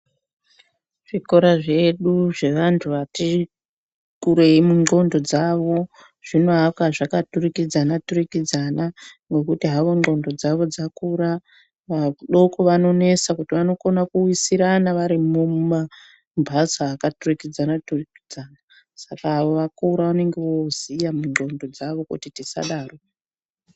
Zvikora zvedu zvevanthu vati kurei mundxondo dzavo zvinoakwa zvakaturikidzana turikidzana ngekuti hawo ndxondo dzavo dzakura. Vadoko vanonesa kuti vanokona kuwisirana varimwo mumamhatso akaturikidzana turikidzana. Saka avo vakuru vanenge voziya mundxondo dzavo kuti tisadaro.